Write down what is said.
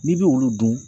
N'i bɛ olu dun